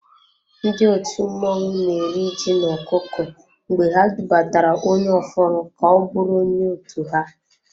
Ndị òtù mmọnwụ na eri ji na-ọkụkọ mgbe ha dubatara onye ofụru ka-ọbụrụ onye otu ha.